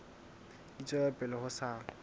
di tswela pele ho sa